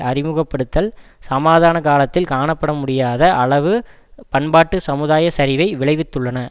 அறிமுகப்படுத்தல் சமாதான காலத்தில் காணப்படமுடியாத அளவு பண்பாட்டு சமுதாய சரிவை விளைவித்துள்ளன